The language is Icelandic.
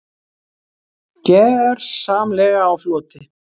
Gjörsamlega á floti.